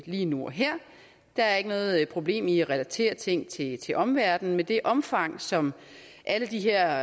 lige nu og her der er ikke noget problem i at relatere ting til til omverdenen men det omfang som alle de her